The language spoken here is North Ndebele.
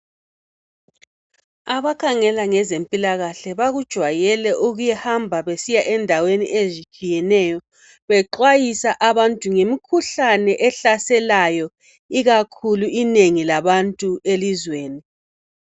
abakhangela ngezempilakahle bakujwayele ukuhamba besiya endaweni ezitshiyeneyo bexwayisa abantu ngemikhuhlane ehlaselayo ikakhulu inengilabantu elizweni